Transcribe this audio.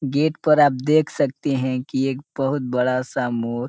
gate पर आप देख सकते हैं कि एक बहुत बड़ा सा मोर --